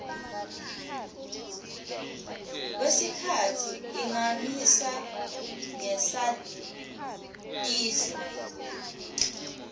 kwesikhatsi ingamisa ngesatiso